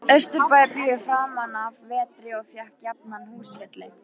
Austurbæjarbíói framanaf vetri og fékk jafnan húsfylli.